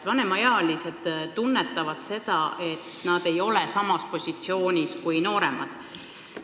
Vanemaealised siiski tunnetavad, et nad ei ole samal positsioonil kui nooremad.